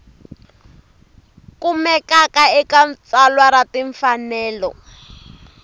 kumekaka eka tsalwa ra timfanelo